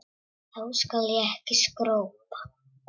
Þá skal ég ekki skrópa.